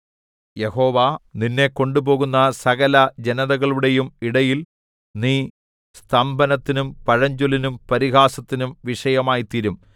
യഹോവ നിന്നെ കൊണ്ടുപോകുന്ന സകലജനതകളുടെയും ഇടയിൽ നീ സ്തംഭനത്തിനും പഴഞ്ചൊല്ലിനും പരിഹാസത്തിനും വിഷയമായിത്തീരും